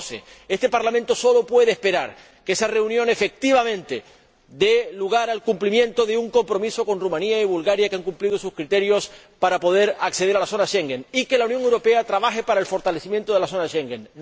2012. Este Parlamento sólo puede esperar que esa reunión efectivamente dé lugar al cumplimiento de un compromiso con Rumanía y Bulgaria, que han cumplido sus criterios para poder acceder al espacio Schengen, y que la Unión trabaje para el fortalecimiento del espacio Schengen.